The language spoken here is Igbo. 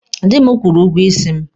Dị m kwụrụ ụgwọ isi m.